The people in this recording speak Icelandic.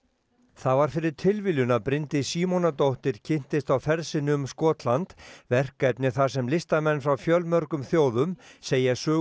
það var fyrir tilviljun að Bryndís Símonardóttir kynntist á ferð sinni um Skotland verkefni þar sem listamenn frá fjölmörgum þjóðum segja sögu